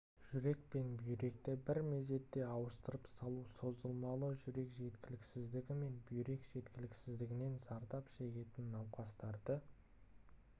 жүрек пен бүйректі бір мезетте ауыстырып салу созылмалы жүрек жеткіліксіздігі мен бүйрек жеткіліксіздігінен зардап шегетін науқастарды